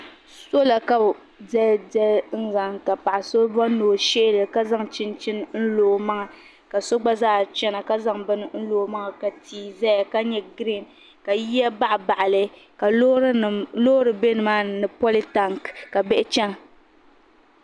Sola ka bi diɛl diɛli ka paɣa so bɔri ni o shihi li ka zaŋ chinchini n lo o maŋa ka so gba zaa chana ka zaŋ bini lo o maŋa ka tia zaya ka nyɛ giriin ka yiya baɣa baɣa li ka loori bɛ nima ni ni poli tank ka bihi chana.